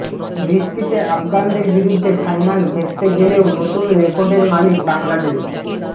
বৃষ্টিতে আফগানদের বিরুদ্ধে ফাইনাল ভেস্তে গেলেও নতুন রেকর্ডের মালিক বাংলাদেশ